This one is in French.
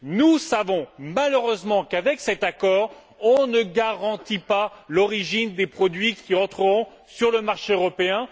Nous savons, malheureusement, qu'avec cet accord, on ne garantit pas l'origine des produits qui entreront sur le marché européen